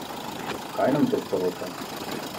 Kaj nam to sporoča?